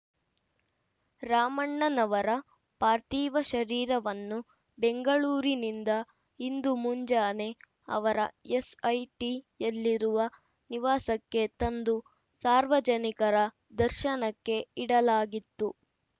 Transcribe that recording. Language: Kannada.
ರಾಮಣ್ಣನವರ ಪಾರ್ಥೀವ ಶರೀರವನ್ನು ಬೆಂಗಳೂರಿನಿಂದ ಇಂದು ಮುಂಜಾನೆ ಅವರ ಎಸ್ಐಟಿಯಲ್ಲಿರುವ ನಿವಾಸಕ್ಕೆ ತಂದು ಸಾರ್ವಜನಿಕರ ದರ್ಶನಕ್ಕೆ ಇಡಲಾಗಿತ್ತು